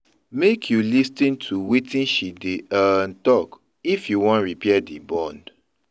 Make you lis ten to wetin she dey um tok if you wan repair di bond.